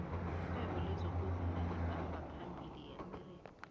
ixhwebo lezokuvumo libhamba phambili eamerika